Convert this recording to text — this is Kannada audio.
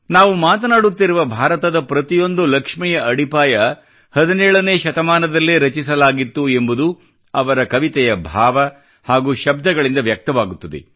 ನಾವು ಮಾತನಾಡುತ್ತಿರುವ ಭಾರತದ ಪ್ರತಿಯೊಂದು ಲಕ್ಷ್ಮಿಯ ಅಡಿಪಾಯ 17ನೇ ಶತಮಾನದಲ್ಲೇ ರಚಿಸಲಾಗಿತ್ತು ಎಂಬುದು ಅವರ ಕವಿತೆಯ ಭಾವ ಹಾಗೂ ಶಬ್ದಗಳಿಂದ ವ್ಯಕ್ತವಾಗುತ್ತದೆ